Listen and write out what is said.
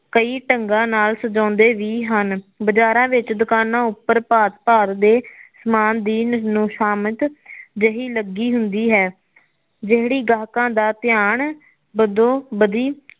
ਕਈ ਢੰਗਾ ਨਾਲ ਸਜਾਉਦੇ ਵੀ ਹਨ ਬਜ਼ਾਰਾ ਵਿੱਚ ਦੁਕਾਨਾ ਉੱਪਰ ਭਾਤ ਭਾਤ ਦੇ ਸਾਮਾਨ ਦੀ ਨੋਸ਼ਾਮਦ ਜਿਹੀ ਲੱਗੀ ਹੁੰਦੀ ਹੈ ਜਿਹੜੀ ਗਾਹਕਾ ਦਾ ਧਿਆਨ ਬਦੋਂ ਬਦੀ